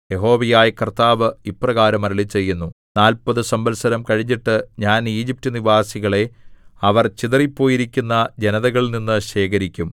യഹോവയായ കർത്താവ് ഇപ്രകാരം അരുളിച്ചെയ്യുന്നു നാല്പതു സംവത്സരം കഴിഞ്ഞിട്ട് ഞാൻ ഈജിപ്റ്റ്നിവാസികളെ അവർ ചിതറിപ്പോയിരിക്കുന്ന ജനതകളിൽനിന്ന് ശേഖരിക്കും